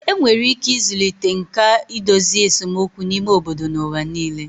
Enwere ike ịzụlite nkà idozi esemokwu n'ime obodo n'ụwa nile